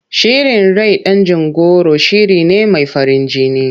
Shirin rai dangin goro shiri ne mai farin jini.